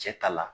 Cɛ ta la